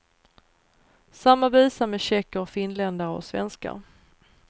Samma visa med tjecker och finländare och svenskar.